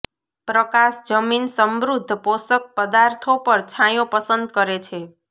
પ્રકાશ જમીન સમૃદ્ધ પોષક પદાર્થો પર છાંયો પસંદ કરે છે